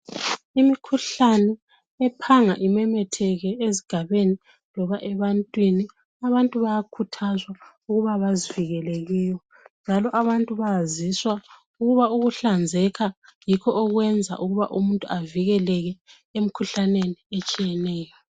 Imikhuhlane ephanga imemetheke ezigabeni loba ebantwini abantu bayakhuthazwa ukuthi bazivikele kuyo njalo abantu bayaziswa ukuthi ukuhlanzeka yikho okwenza umuntu avikeleke emikhuhlaneni etshiyeneyo.